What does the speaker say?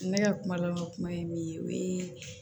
Ne ka kuma laban kuma ye min ye o ye